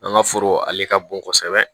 An ka foro ale ka bon kosɛbɛ